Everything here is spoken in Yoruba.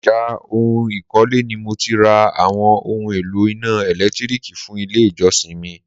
ọjà oun ìkọ́lé ni mo ti ra àwọn oún èlò iná ẹ̀lẹ́tírìkì fún ilé ìjọsìn mi.